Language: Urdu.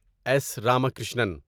ایس راماکرشنن